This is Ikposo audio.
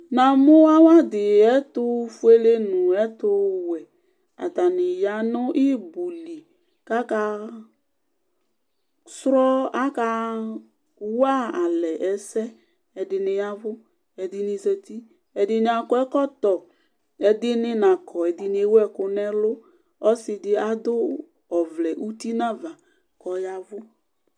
Na mʊ awadɩ ɛtʊfʊele nɛtʊwɛ atanɩ ya nɩɩbʊlɩ kaka walɛ ɛsɛ Ɛdɩnɩ yavʊ, ɛdɩnɩ zatɩ Ɛdɩnɩ akɔ ɛkɔtɔ Ɛdɩnɩ nakɔ Ɛdɩnɩbewʊ ɛkʊ nelʊ Ɔsɩ dɩ adʊ ɔvlɛ ʊtɩ nava kɔyavʊ